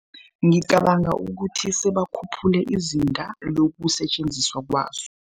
Ngicabanga ukuthi sebakhuphule izinga lokusetjenziswa kwazo.